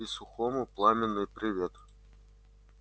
и сухому пламенный привет